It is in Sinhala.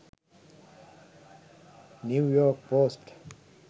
new york post